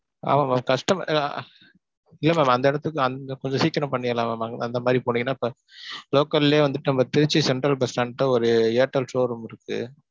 ஆமா mam customer ஆஹ் இல்ல ma'm அந்த இடத்துக்கு அங்க கொஞ்சம் சீக்கிரம் பண்ணிரலாம் mam. அங்க அந்த மாரி போனிங்கனா, local லையே வந்துட்டு நம்ம திருச்சி சென்ட்ரல் பஸ் ஸ்டான்ட் கிட்ட ஒரு ஏர்டெல் showroom